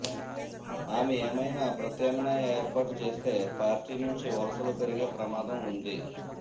ఆమె ఏమైనా ప్రత్యామ్నాయ ఏర్పాటు చేస్తే పార్టీ నుంచి వలసలు పెరిగే ప్రమాదం ఉంది